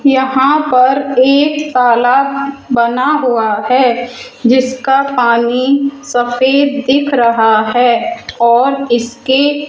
यहां पर एक तालाब बना हुआ है जिसका पानी सफेद दिख रहा है और इसके --